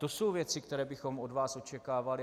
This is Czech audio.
To jsou věci, které bychom od vás očekávali.